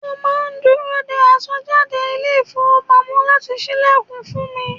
Mo máa ń dúró dé aṣọ́bodè ilé ifowopamo láti ṣílẹ̀kùn fún mi.